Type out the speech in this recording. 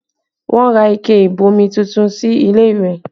Wọn ra ike ìbomi tuntun sí ilé ìwẹ̀